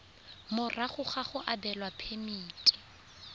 morago ga go abelwa phemiti